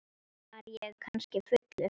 Var ég kannski fullur?